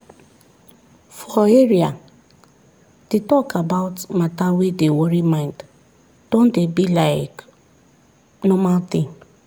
for area the talk about matter wey dey worry mind don dey be like normal thing